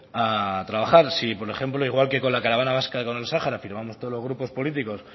a trabajar si por ejemplo igual que con la caravana vasca con el sahara firmamos todos los grupos políticos